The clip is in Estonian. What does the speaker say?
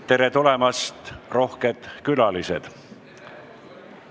Tere tulemast, rohked külalised!